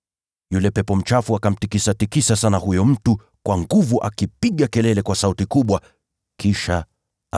Yule pepo mchafu akamtikisatikisa huyo mtu kwa nguvu, kisha akamtoka akipiga kelele kwa sauti kubwa.